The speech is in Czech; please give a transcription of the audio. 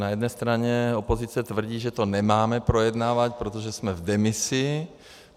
Na jedné straně opozice tvrdí, že to nemáme projednávat, protože jsme v demisi.